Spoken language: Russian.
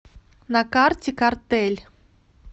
на карте картель